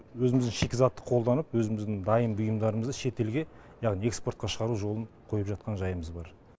өзіміздің шикізатты қолданып өзіміздің дайын бұйымдарымызды шетелге яғни экспортқа шығару жолын қойып жатқан жайымыз бар